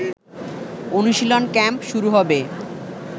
অনুশীলন ক্যাম্প শুরু হবে